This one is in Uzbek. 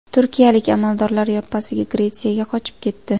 Turkiyalik amaldorlar yoppasiga Gretsiyaga qochib ketdi.